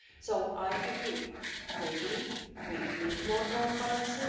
So I agree that maybe we need more transparency.